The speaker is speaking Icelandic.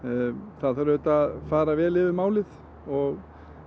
það þarf auðvitað að fara vel yfir málið og